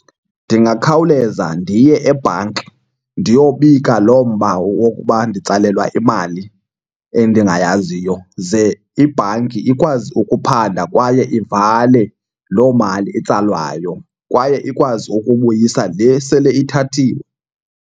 Ndingakhawuleza ndiye ebhanki ndiyobika loo mba wokuba nditsalelwa imali endingayaziyo. Ze ibhanki ikwazi ukuphanda kwaye ivale loo mali itsalwayo kwaye ikwazi ukubuyisa le sele ithathiwe.